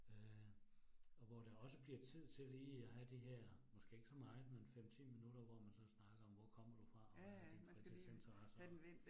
Øh og hvor der også bliver tid til lige at have de her, måske ikke så meget, men 5 10 minutter, hvor man så snakker om, hvor kommer du fra, og hvad er dine fritidsinteresser